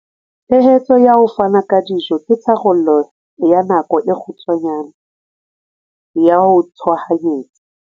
Tshehetso ya ho fana ka dijo ke tharollo ya nako e kgutshwane ya tshohanyetso.